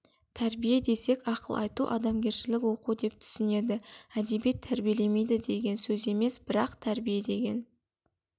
тәрбие десек ақыл айту адамгершілік оқу деп түсінеді әдебиет тәрбиелемейді деген сөз емес бірақ тәрбие деген